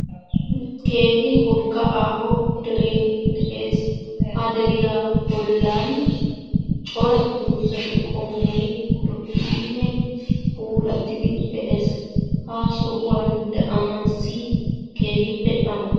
Keehi wogga aaho deree de'ees. Ha de'iya bollan cora dozati qommoy lo'idinne puulattidi de'ees ha sohuwan daanaassi keehippe amoyes.